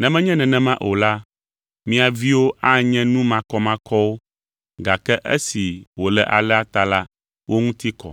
Ne menye nenema o la, mia viwo anye nu makɔmakɔwo, gake esi wòle alea ta la, wo ŋuti kɔ.